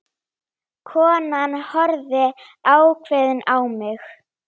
Konan horfði ákveðin á mig.